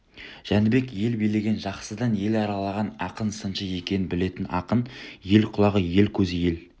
жәнібек ел билеген жақсыдан ел аралаған ақын сыншы екенін білетін ақын ел құлағы ел көзі ел